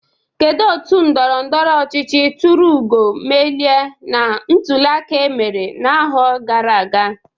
Kedụ otu ndọrọndọrọ ọchịchị turu ugo mmeli na ntuliaka emere na ahọ gara aga?